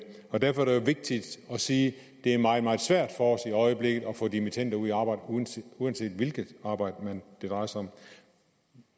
og derfor er det jo vigtigt at sige at det er meget meget svært for os i øjeblikket at få dimittender ud i arbejde uanset uanset hvilket arbejde det drejer sig om